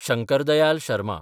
Shankar Dayal Sharma